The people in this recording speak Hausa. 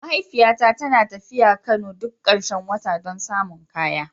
Mahaifiyata tana tafiya Kano duk karshen wata don samun kaya.